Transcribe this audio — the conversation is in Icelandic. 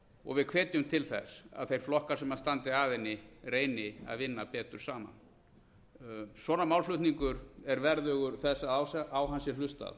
og við hvetjum til þess að þeir flokkar sem standa að henni reyni að vinna betur saman svona málflutningur er verðugur þess að á hann sé hlustað